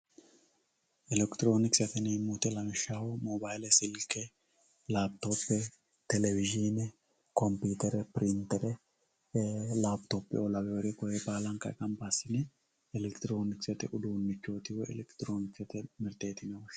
Electronksete yinemo woyite lawishshaho mobayile silke lapitope televisine conpiutere pirintere lapitopeoo laweore koriuu kuriuu ganba asine elektironksete udunivhoti woyi electironksete mirteti yine woshinani.